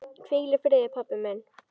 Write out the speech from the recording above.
Hvíl í friði pabbi minn.